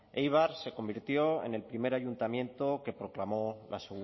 éibar se convirtió en el primer ayuntamiento que proclamó la